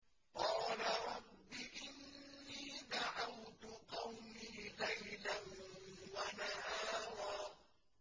قَالَ رَبِّ إِنِّي دَعَوْتُ قَوْمِي لَيْلًا وَنَهَارًا